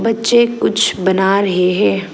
पीछे कुछ बना रहे हैं।